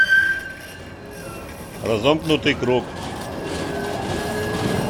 разомкнутый круг